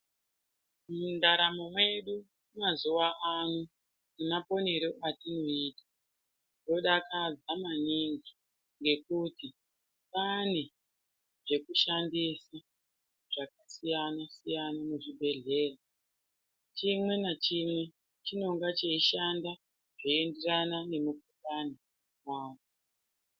Muntaramo medu yemazuvaano nemaponero atinoita zvodakadza maningi ngekuti kwaane zvekushandisa zvakasiyana siyana muzvibhehlera .Chimwe nechimwe chinonga chiyishanda zveenderana.